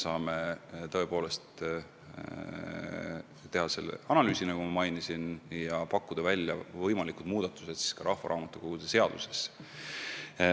Me teeme selle analüüsi, mida ma mainisin, ja pakume välja võimalikud muudatused rahvaraamatukogude seaduses.